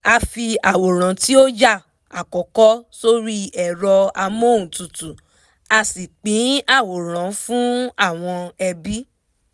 a fi àwòrán tí ó yà àkọ́kọ́ sórí ẹ̀rọ amọ́huntutù a sì pín àwòrán fún àwọn ẹbí